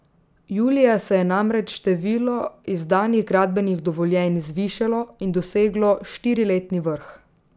Julija se je namreč število izdanih gradbenih dovoljenj zvišalo in doseglo štiriletni vrh.